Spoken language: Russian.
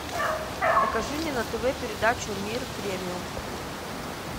покажи мне на тв передачу мир премиум